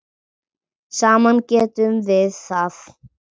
Saman getum við það.